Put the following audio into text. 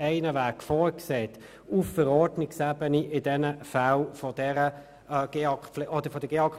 ohnehin vorsieht, auf Verordnungsebene in diesen Fällen von der GEAK-Pflicht abzusehen.